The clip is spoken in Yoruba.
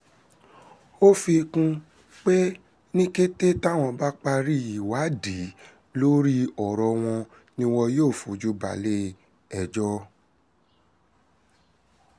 ó fi kún un pé ní kété táwọn bá ti parí ìwádìí lórí ọ̀rọ̀ wọn ni wọn yóò fojú balẹ̀-ẹjọ́